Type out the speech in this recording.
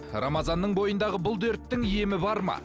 рамазанның бойындағы бұл дерттің емі бар ма